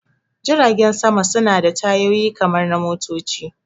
Jiragen sama suna da tayoyi kamar na motoci